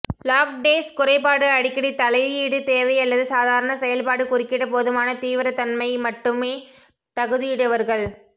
lactase குறைபாடு அடிக்கடி தலையீடு தேவை அல்லது சாதாரண செயல்பாடு குறுக்கிட போதுமான தீவிரத்தன்மை மட்டுமே தகுதியுடையவர்கள்